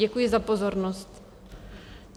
Děkuji za pozornost.